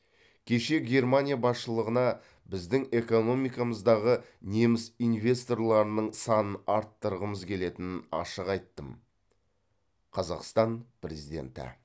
кеше германия басшылығына біздің экономикамыздағы неміс инвесторларының санын арттырғымыз келетінін ашық айттым қазақстан президенті